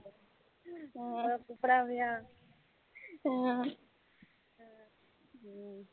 ஹம் உண்ண கூப்படாமயா ஹம் ஹம்